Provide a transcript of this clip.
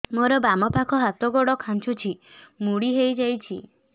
ମୋର ବାମ ପାଖ ହାତ ଗୋଡ ଖାଁଚୁଛି ମୁଡି ହେଇ ଯାଉଛି